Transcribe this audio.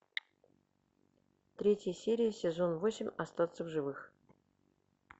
третья серия сезон восемь остаться в живых